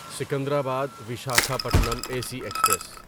Secunderabad Visakhapatnam A C express